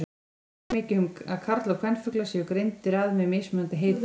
Ekki er mikið um að karl- og kvenfuglar séu greindir að með mismunandi heitum.